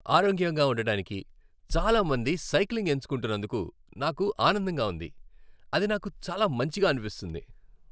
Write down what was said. ఆరోగ్యంగా ఉండటానికి చాలా మంది సైక్లింగ్ ఎంచుకుంటున్నందుకు నాకు ఆనందంగా ఉంది. అది నాకు చాలా మంచిగా అనిపిస్తుంది.